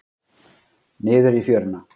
Niður í fjöruna.